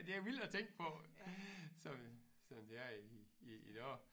Det er vildt at tænke på som som det er i i i dag